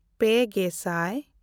ᱯᱮᱼᱜᱮᱥᱟᱭ